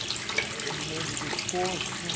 Ah eu me lembro dos cursos.